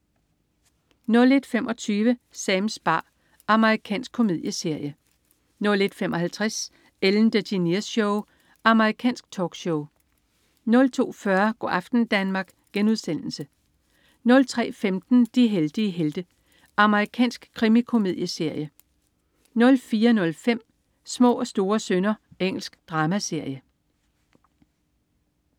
01.25 Sams bar. Amerikansk komedieserie 01.55 Ellen DeGeneres Show. Amerikansk talkshow 02.40 Go' aften Danmark* 03.15 De heldige helte. Amerikansk krimikomedieserie 04.05 Små og store synder. Engelsk dramaserie